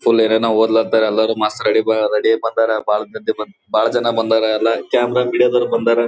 ಸುಲೇರೆನ ಹೊದಲಂತೆ ಎಲ್ಲಾರು ಮಸ್ ರೆಡಿ ಬ ರೆಡಿ ಬಂದರೆ ಬಾಳ್ ಮಂದಿ ಬಾಳ್ ಜನ ಬಂದರ್ ಎಲ್ಲಾ ಕ್ಯಾಮೆರಾ ಮೀಡಿಯಾದವ್ರು ಬಂದರೆ.